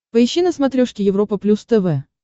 поищи на смотрешке европа плюс тв